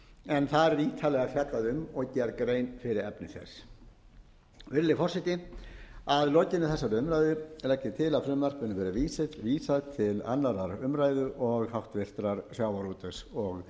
en þar er ítarlega fjallað um og gerð grein fyrir efni þess virðulegi forseti að lokinni þessari umræðu legg ég til að frumvarpinu verði vísað til annarrar umræðu og háttvirtur sjávarútvegs og